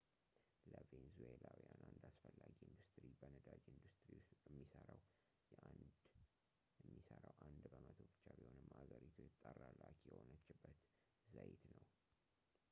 ለቬንዙዌላውያን አንድ አስፈላጊ ኢንዱስትሪ በነዳጅ ኢንዱስትሪ ውስጥ የሚሠራው አንድ በመቶ ብቻ ቢሆንም አገሪቱ የተጣራ ላኪ የሆነችበት ዘይት ነው